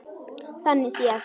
Þannig séð.